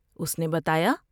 اس نے بتایا